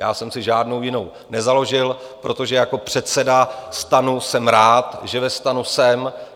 Já jsem si žádnou jinou nezaložil, protože jako předseda STAN jsem rád, že ve STAN jsem.